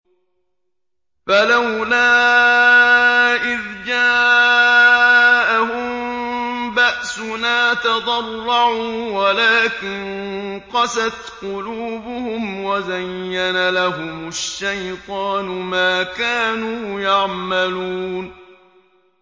فَلَوْلَا إِذْ جَاءَهُم بَأْسُنَا تَضَرَّعُوا وَلَٰكِن قَسَتْ قُلُوبُهُمْ وَزَيَّنَ لَهُمُ الشَّيْطَانُ مَا كَانُوا يَعْمَلُونَ